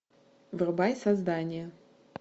врубай создание